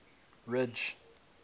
ridge